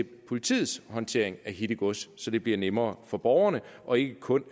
politiets håndtering af hittegods så det bliver nemmere for borgerne og ikke kun